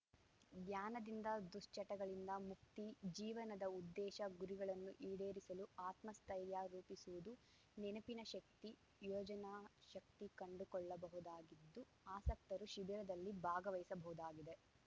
ಧ್ಯಾನದಿಂದ ದುಶ್ಚಟಗಳಿಂದ ಮುಕ್ತಿ ಜೀವನದ ಉದ್ದೇಶ ಗುರಿಗಳನ್ನು ಈಡೇರಿಸಲು ಆತ್ಮಸ್ಥೆತ್ರೖರ್ಯ ರೂಪಿಸಿವುದು ನೆನಪಿನ ಶಕ್ತಿ ಯೋಜನಾ ಶಕ್ತಿ ಕಂಡುಕೊಳ್ಳಬಹುದಾಗಿದ್ದು ಆಸಕ್ತರು ಶಿಬಿರದಲ್ಲಿ ಭಾಗವಹಿಸಬಹುದಾಗಿದೆ